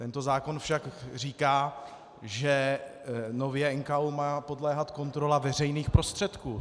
Tento zákon však říká, že nově má NKÚ podléhat kontrola veřejných prostředků.